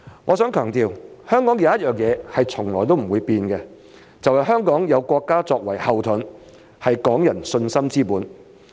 我想強調，香港有一點是從來不會變的，就是香港有國家作為後盾，是港人信心之本。